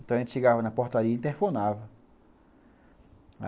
Então a gente chegava na portaria e interfonava.